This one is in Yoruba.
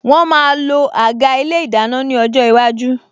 Wọn máa lo àga ilé ìdáná ní ọjọ́ iwájú